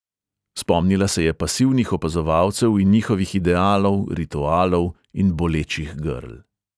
Spomnila se je pasivnih opazovalcev in njihovih idealov, ritualov in bolečih grl.